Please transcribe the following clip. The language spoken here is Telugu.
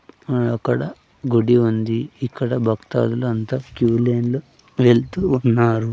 అహ్ అక్కడ గుడ్డి ఉంది ఇక్కడ భక్తాదులు అంతా క్యూలైన్ లో వెళ్తూ ఉన్నారు.